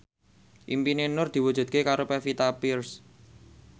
impine Nur diwujudke karo Pevita Pearce